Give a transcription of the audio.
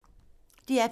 DR P2